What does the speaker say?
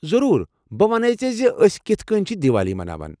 ضروٗر، بہٕ ؤنے ژےٚ زِ ٲسۍ کِتھہٕ کٔنۍ چھِ دیوالی مناوان۔